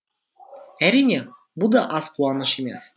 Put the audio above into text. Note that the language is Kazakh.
әрине бұ да аз қуаныш емес